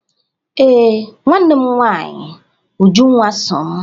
Ee, nwanne m nwanyị Ujunwa so m